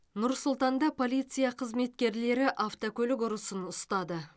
нұр сұлтанда полиция қызметкерлері автокөлік ұрысын ұстады